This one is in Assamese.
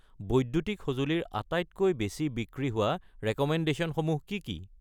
বৈদ্যুতিক সঁজুলি ৰ আটাইতকৈ বেছি বিক্ৰী হোৱা ৰেক'মেণ্ডেশ্যনসমূহ কি কি?